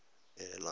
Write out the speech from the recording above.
air lines flight